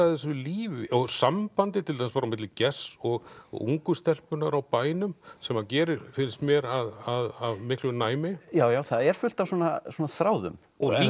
þessu lífi og sambandi til dæmis á milli Gests og og ungu stelpunnar á bænum sem hann gerir finnst mér af miklu næmi já já það er fullt af svona svona þráðum